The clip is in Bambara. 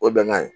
O ye bɛnkan ye